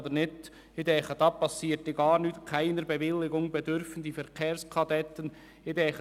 Es würde nichts geschehen, wenn man den Zusatz «Keiner Bewilligung bedürfen die Verkehrskadetten» ins Gesetz schriebe.